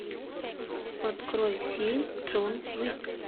открой фильм джон уик